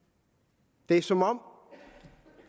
det er som om